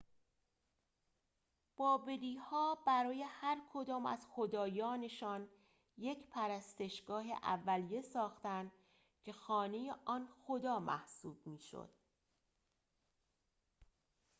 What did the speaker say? بابلی‌ها برای هرکدام از خدایانشان یک پرستشگاه اولیه ساختند که خانه آن خدا محسوب می‌شد